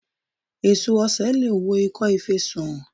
Èso osè leè wo ìkọ́ fe sàn